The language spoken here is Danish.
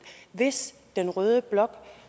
hvis den røde blok